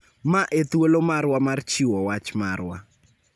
Ma e thuolo marwa mar chiwo wach marwa